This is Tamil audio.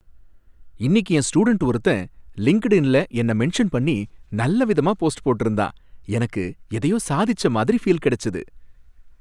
இன்னிக்கு என் ஸ்டூடண்ட் ஒருத்தன் லிங்க்டுஇன்ல என்னை மென்ஷன் பண்ணி நல்ல விதமா போஸ்ட் போட்டிருந்தான், எனக்கு எதையோ சாதிச்ச மாதிரி ஃபீல் கிடைச்சது.